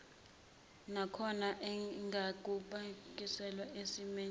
nakhona engakabuyiselwa esimeni